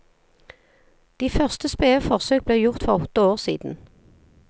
De første spede forsøk ble gjort for åtte år siden.